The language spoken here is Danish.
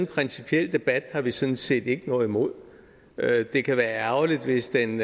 principiel debat har vi sådan set ikke noget imod det kan være ærgerligt hvis den